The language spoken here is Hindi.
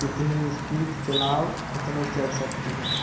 कितनी स्‍पीड चलाओ उतनी चल सकती हैं ।